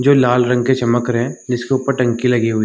जो लाल रंग के चमक रहे हैं जिसके ऊपर टंकी लगी हुई।